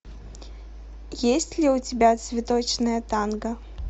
есть ли у тебя цветочное танго